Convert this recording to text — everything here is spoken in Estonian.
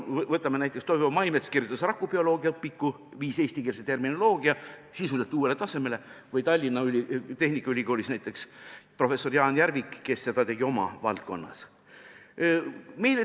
Võtame näiteks Toivo Maimetsa, kes kirjutas rakubioloogia õpiku ja viis sellega eestikeelse terminoloogia sisuliselt uuele tasemele, või näiteks Tallinna Tehnikaülikooli professori Jaan Järviku, kes tegi sama oma valdkonnas.